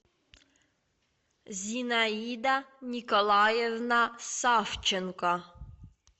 зинаида николаевна савченко